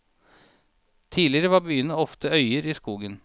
Tidligere var byene ofte øyer i skogen.